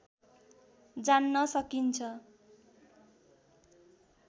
जान्न सकिन्छ